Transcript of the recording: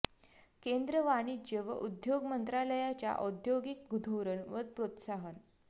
केंद्रीय वाणिज्य व उद्योग मंत्रालयाच्या औद्योगिक धोरण व प्रोत्साहन